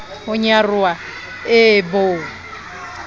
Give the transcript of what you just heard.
ho nyaroha e e bo